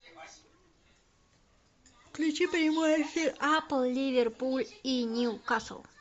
включи прямой эфир апл ливерпуль и ньюкасл